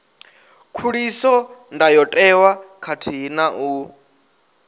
khuliso ndayotewa khathihi na u